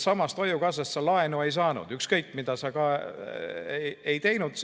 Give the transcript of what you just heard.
Hoiukassast sa laenu ei saanud, ükskõik mida sa ka ei teinud.